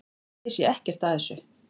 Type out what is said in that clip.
Ég sé ekkert að þessu.